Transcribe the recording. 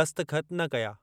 दस्तख़त न कया।